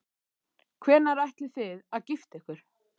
Hvenær ætlið þið að gifta ykkur?